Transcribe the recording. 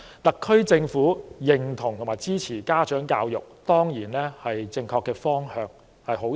特區政府認同和支持家長教育，當然是正確的方向，這是好事。